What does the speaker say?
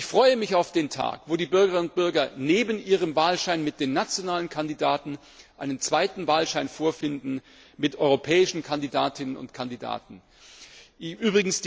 Ich freue mich auf den Tag, an dem die Bürgerinnen und Bürger neben ihrem Wahlschein mit den nationalen Kandidaten einen zweiten Wahlschein mit europäischen Kandidatinnen und Kandidaten vorfinden werden.